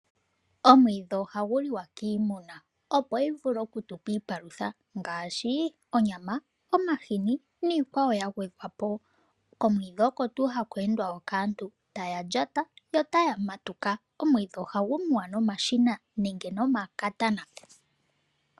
Omwiidhi ohagu liwa kiimuna opo yi vule oku tupa iipalutha ngaashi onyama, omahini niikwawo ya gwedhwa po. Komwiidhi oko tuu haku endwa kaantu taya lyata yo taya matuka. Omwidhi ohagu muwa nomashina nenge nomakatana.